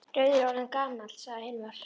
Rauður er orðinn gamall, sagði Hilmar.